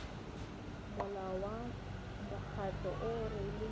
molao wa mokgatlo o rwele